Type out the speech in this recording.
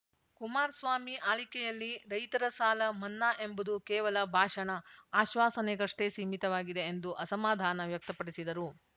ಕುಮಾರಸ್ವಾಮಿ ಆಳ್ವಿಕೆಯಲ್ಲಿ ರೈತರ ಸಾಲ ಮನ್ನಾ ಎಂಬುದು ಕೇವಲ ಭಾಷಣ ಆಶ್ವಾಸನೆಗಷ್ಟೇ ಸೀಮಿತವಾಗಿದೆ ಎಂದು ಅಸಮಾಧಾನ ವ್ಯಕ್ತಪಡಿಸಿದರು